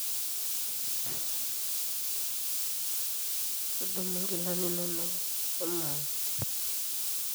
todumu nkilani inonok shomo ang